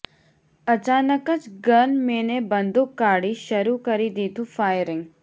અચાનક જ ગનમેને બંદુક કાઢી શરૂ કરી દીધું ફાયરિંગ